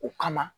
O kama